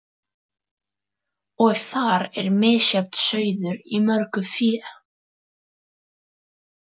Og þar er misjafn sauður í mörgu fé.